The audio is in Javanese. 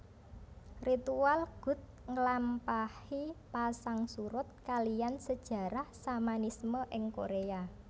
Ritual gut ngelampahi pasang surut kaliyan sejarah Shamanisme ing Korea